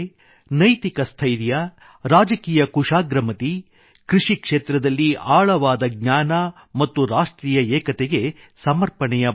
ನೈತಿಕ ಸ್ಥೈರ್ಯ ರಾಜಕೀಯ ಕುಶಾಗ್ರಮತಿ ಕೃಷಿ ಕ್ಷೇತ್ರದಲ್ಲಿ ಆಳವಾದ ಜ್ಞಾನ ಮತ್ತು ರಾಷ್ಟ್ರೀಯ ಏಕತೆಗೆ ಸಮರ್ಪಣೆಯ ಭಾವನೆ